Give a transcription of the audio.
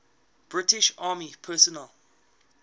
british army personnel